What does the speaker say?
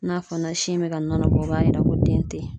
N'a fɔ na sin bɛ ka nɔnɔ bɔ o b'a yira ko den tɛ yen